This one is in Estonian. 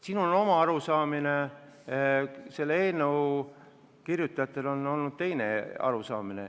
Sinul on oma arusaamine, selle eelnõu kirjutajatel on olnud teine arusaamine.